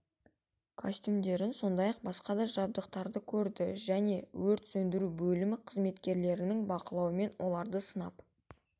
костюмдерін сондай-ақ басқа да жабдықтарды көрді және өрт сөндіру бөлімі қызметкерлерінің бақылауымен оларды сынап